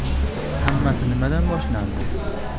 Hammasi nimadan boshlangandi?